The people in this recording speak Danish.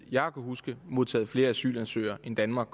jeg kan huske modtaget flere asylansøgere end danmark